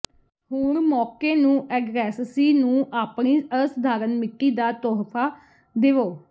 ਹੁਣ ਮੌਕੇ ਨੂੰ ਐਡਰੈਸਸੀ ਨੂੰ ਆਪਣੀ ਅਸਾਧਾਰਨ ਮਿੱਟੀ ਦਾ ਤੋਹਫ਼ਾ ਦੇਵੋ